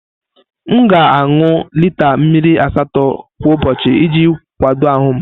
M ga-aṅụ lita mmiri asatọ kwa ụbọchị iji kwado ahụ m.